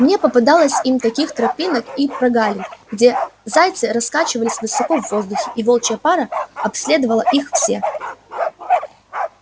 мне попадалось им таких тропинок и прогалин где зайцы раскачивались высоко в воздухе и волчья пара обследовала их все